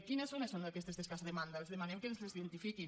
quines zones són aquestes d’escassa demanda els demanem que ens les identifiquin